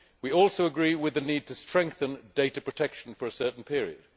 We also agree with the need to strengthen data protection for a certain period.